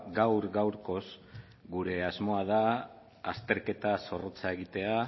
gaur gaurkoz gure asmoa da azterketa zorrotza egitea